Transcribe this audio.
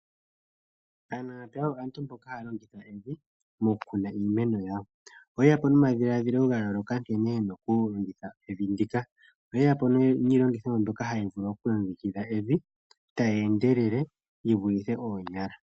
Aanamapya oyo aantu mboka haya longitha evi mokukuna iimeno yawo. Oye ya po nomadhiladhilo ga yooloka nkene ye na okulongitha evi ndika..oye ya po niilongithomwa mbyoka hayi vulu okulongekidha evi, tayi endelele, yivulithe oonyala.